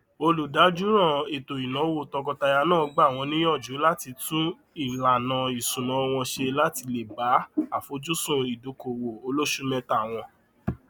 olùdájọọràn ètòínáwó tọkọtaya náà gbà wọn níyànjú láti tún ìlànà isúná wọn ṣe láti lè bá àfojúsùn ìdókòwò olósùméta wọn